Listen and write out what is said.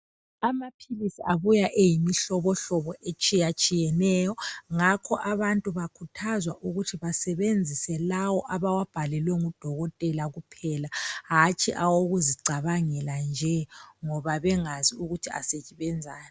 Amaphilisi abuya eyimihlobohlobo etshiyatshiyeneyo. Ngakho abantu bakhuthazwa ukuthi basebenzise lawo abawabhalelwe ngudokotela kuphela, hatshi awokuzicabangela nje ngoba bengazi ukuthi asebenzani.